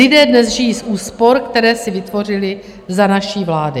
Lidé dnes žijí z úspor, které si vytvořili za naší vlády.